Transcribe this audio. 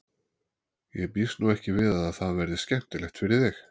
Ég býst nú ekki við að það verði skemmtilegt fyrir þig.